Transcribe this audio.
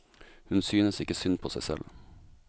Hun synes ikke synd på seg selv.